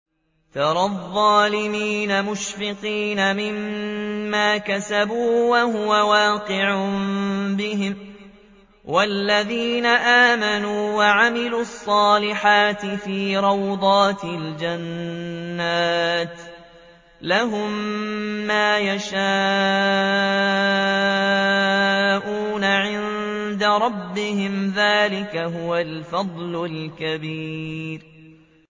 تَرَى الظَّالِمِينَ مُشْفِقِينَ مِمَّا كَسَبُوا وَهُوَ وَاقِعٌ بِهِمْ ۗ وَالَّذِينَ آمَنُوا وَعَمِلُوا الصَّالِحَاتِ فِي رَوْضَاتِ الْجَنَّاتِ ۖ لَهُم مَّا يَشَاءُونَ عِندَ رَبِّهِمْ ۚ ذَٰلِكَ هُوَ الْفَضْلُ الْكَبِيرُ